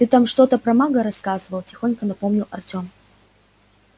ты там что-то про мага рассказывал тихонько напомнил артём